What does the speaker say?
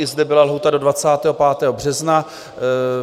I zde byla lhůta do 25. března.